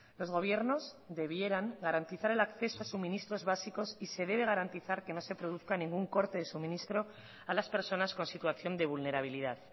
los gobiernos debieran garantizar el acceso a suministros básicos y se debe garantizar que no se produzca ningún corte de suministro a las personas con situación de vulnerabilidad